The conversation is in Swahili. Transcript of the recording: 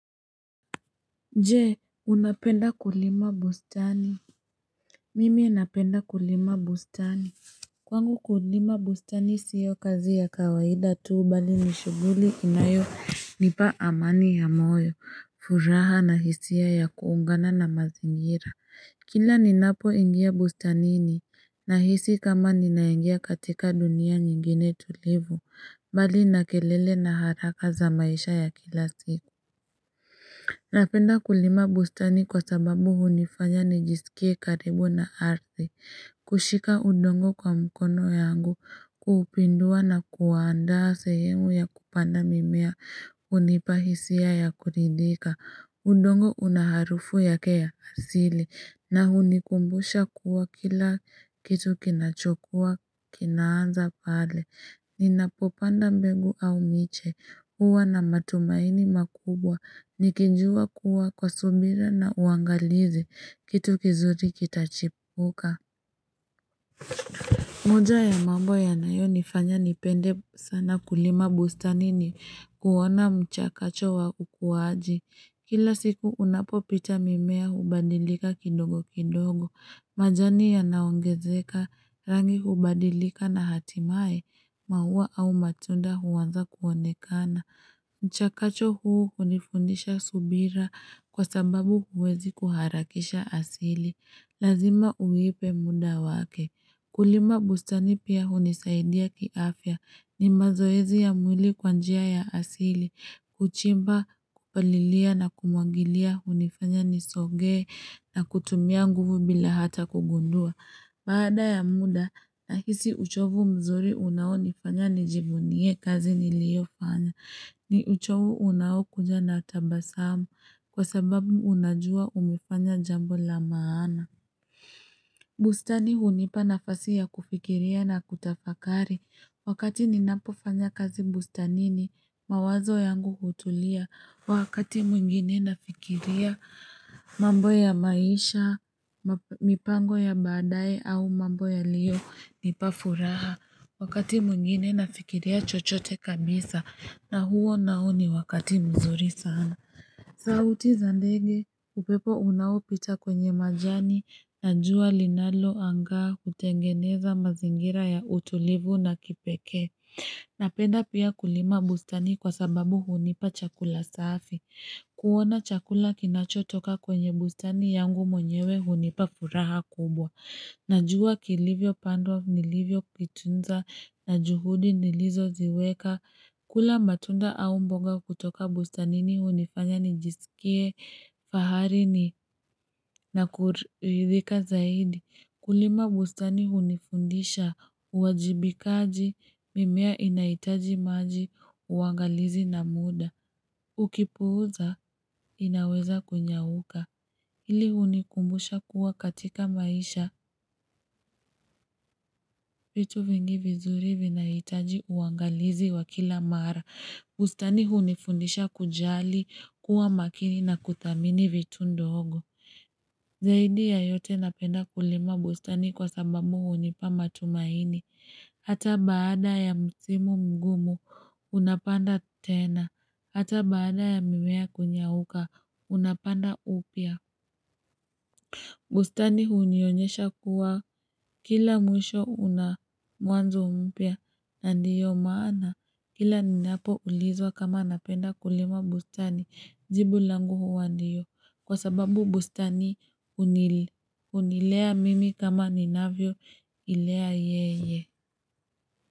Je unapenda kulima bustani mimi napenda kulima bustani kwangu kulima bustani sio kazi ya kawaida tuu bali nishuguli inayo nipa amani ya moyo furaha na hisia ya kuungana na mazingira kila ninapo ingia bustani ni nahisi kama ninaengia katika dunia nyingine tulivu bali nakelele na haraka za maisha ya kila siku Napenda kulima bustani kwa sababu hunifanya nijisikie karibu na aridhi, kushika udongo kwa mkono yangu, kuupindua na kuwaandaa sehemu ya kupanda mimea, unipa hisia ya kuridhika, udongo unaharufu yake ya asili, na hunikumbusha kuwa kila kitu kinachokua, kinanza pale Ninapopanda mbegu au miche huwa na matumaini makubwa nikijua kuwa kwa subira na uangalizi kitu kizuri kitachipuka moja ya mambo ya nayo nifanya nipende sana kulima bustani ni kuwona mchakacho wa ukuwaji. Kila siku unapo pita mimea hubadilika kidogo kidogo. Majani yanaongezeka rangi hubadilika na hatimae maua au matunda huwanza kuwonekana. Mchakacho huu unifundisha subira kwa sababu huwezi kuharakisha asili. Lazima uwipe muda wake. Kulima bustani pia hunisaidia kiafya. Ni mazoezi ya mwili kwanjia ya asili. Kuchimba kupalilia na kumwangilia hunifanya nisogee na kutumia nguvu bila hata kugundua. Baada ya muda nahisi uchovu mzuri unao nifanya nijivunie kazi niliofanya. Ni uchovu unao kuja natabasamu kwa sababu unajua umefanya jambo la maana. Bustani hunipa nafasi ya kufikiria na kutafakari. Wakati ninapo fanya kazi bustani ni mawazo yangu hutulia. Wakati mwingine nafikiria mambo ya maisha, mipango ya badae au mambo yalionipa furaha. Wakati mungine nafikiria chochote kabisa na huo nao ni wakati mzuri sana. Sauti zandege, upepo unaopita kwenye majani na jua linalo anga kutengeneza mazingira ya utulivu na kipeke. Napenda pia kulima bustani kwa sababu hunipa chakula safi. Kuona chakula kinacho toka kwenye bustani yangu mwenyewe hunipa furaha kubwa. Najua kilivyo pandwa nilivyo vitunza na juhudi nilizo ziweka. Kula matunda au mboga kutoka bustanini hunifanya nijisikie, fahari ni nakuridhika zaidi. Kulima bustani hunifundisha, uwajibikaji, mimea inaitaji maji, uwangalizi na muda. Ukipuza, inaweza kunyauka. Hili hunikumbusha kuwa katika maisha, vitu vingi vizuri vinaitaji, uwangalizi wakila mara. Bustani hunifundisha kujali, kuwa makini na kuthamini vitu ndogo. Zaidi ya yote napenda kulima bustani kwa sababu hunipa matumaini. Hata baada ya msimu mgumu, unapanda tena. Hata baada ya mimea kunyauka, unapanda upya. Bustani hunionyesha kuwa kila mwisho unamwanzo mpyaa. Ndiyo maana kila ninapo ulizwa kama napenda kulima bustani jibu langu huwa ndiyo kwa sababu bustani unilea mimi kama ninavyo ilea yeye.